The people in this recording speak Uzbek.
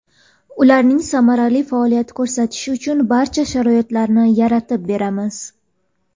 Ularning samarali faoliyat ko‘rsatishi uchun barcha sharoitlarni yaratib beramiz.